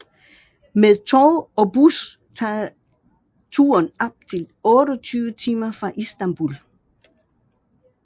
Med tog og bus tager turen op til 28 timer fra Istanbul